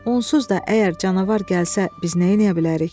Onsuz da əgər canavar gəlsə, biz neyləyə bilərik?